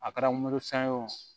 A kɛra mori san o